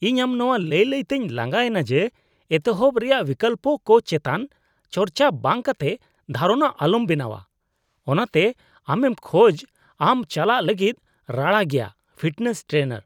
ᱤᱧ ᱟᱢ ᱱᱚᱣᱟ ᱞᱟᱹᱭ ᱞᱟᱹᱭ ᱛᱤᱧ ᱞᱟᱸᱜᱟ ᱮᱱᱟ ᱡᱮ ᱮᱛᱚᱦᱚᱵ ᱨᱮᱭᱟᱜ ᱵᱤᱠᱞᱚᱯᱠᱚ ᱪᱮᱛᱟᱱ ᱪᱟᱨᱪᱟ ᱵᱟᱝ ᱠᱟᱛᱮ ᱫᱷᱟᱨᱚᱱᱟ ᱟᱞᱚᱢ ᱵᱮᱱᱟᱣᱟ, ᱚᱱᱟᱛᱮ ᱟᱢᱮᱢ ᱠᱷᱚᱡ ᱟᱢ ᱪᱟᱞᱟᱜ ᱞᱟᱹᱜᱤᱫ ᱨᱟᱲᱟ ᱜᱮᱭᱟ ᱾ (ᱯᱷᱤᱴᱱᱮᱥ ᱴᱨᱮᱱᱟᱨ)